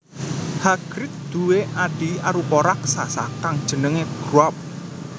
Hagrid duwé adhi arupa raksasa kang jenengé Grawp